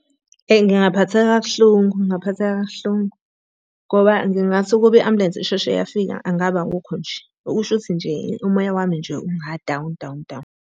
Eyi ngingaphatheka kabuhlungu, ngingaphatheka kabuhlungu. Ngoba ngingathi ukuba i-ambulensi isheshe yafika ngabe akukho nje. Okusho ukuthi nje, umoya wami nje unga-down down down.